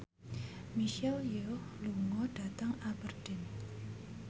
Michelle Yeoh lunga dhateng Aberdeen